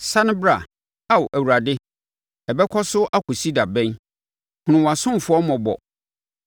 Sane bra, Ao Awurade, ɛbɛkɔ so akɔsi da bɛn? Hunu wʼasomfoɔ mmɔbɔ.